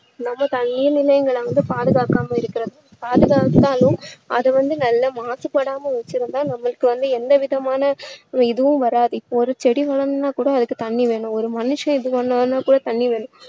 நம்ம தண்ணீர் நிலைகளை வந்து பாதுகாக்காம இருக்குறது பாதுகாத்தாலும் அது வந்து நல்ல மாசுபடாம வச்சுருந்தா நம்மளுக்கு வந்து எந்த விதமான இதுவும் வராது இப்போ ஒரு செடி வளரணும்னா கூட அதுக்கு தண்ணீர் வேணும் ஒரு மனுஷன் எது பண்ணாலும் கூட தண்ணீர் வேணும்